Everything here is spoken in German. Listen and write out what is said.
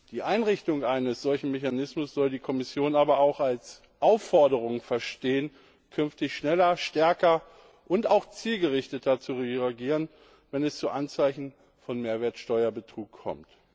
Die Einrichtung eines solchen Mechanismus soll die Kommission aber auch als Aufforderung verstehen, künftig schneller, stärker und auch zielgerichteter zu reagieren, wenn es zu Anzeichen von Mehrwertsteuerbetrug kommt.